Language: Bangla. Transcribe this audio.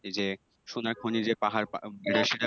এই যে সোনার খনী যে পাহাড়